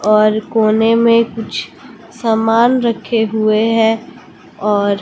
और कोने में कुछ सामान रखे हुए हैं और--